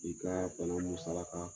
I ka bana musalaka.